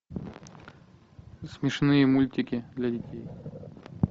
смешные мультики для детей